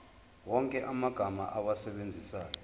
wonke amagama owasebenzisayo